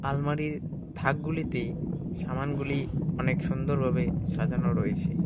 আলমারির থাকগুলিতে সামানগুলি অনেক সুন্দরভাবে সাজানো রয়েছে।